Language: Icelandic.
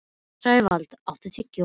Sævald, áttu tyggjó?